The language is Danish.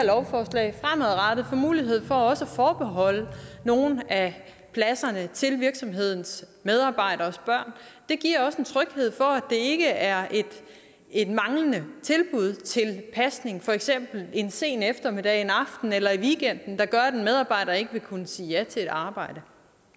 lovforslag fremadrettet får mulighed for at forbeholde nogle af pladserne til virksomhedernes medarbejderes børn giver også en tryghed for at det ikke er et manglende tilbud til pasning for eksempel en sen eftermiddag en aften eller i weekenden der gør at en medarbejder ikke vil kunne sige ja til et arbejde